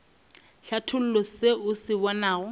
hlatholla se o se bonago